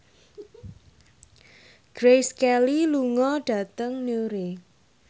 Grace Kelly lunga dhateng Newry